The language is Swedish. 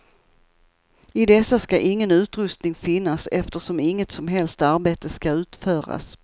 I dessa ska ingen utrustning finnas eftersom inget som helst arbete ska utföras.